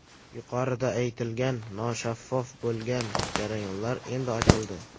Yuqorida aytilgan noshaffof bo‘lgan jarayonlar endi ochildi.